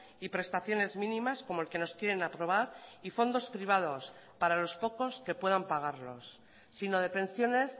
y prestaciones mínimas como el que nos quieren aprobar y fondos privados para los pocos que puedan pagarlos sino de pensiones